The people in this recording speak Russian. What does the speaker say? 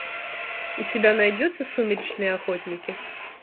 у тебя найдется сумеречные охотники